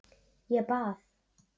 Ég bað